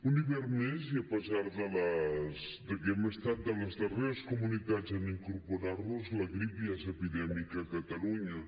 un hivern més i a pesar de que hem estat de les darreres comunitats a incorporar nos hi la grip ja és epidèmica a catalunya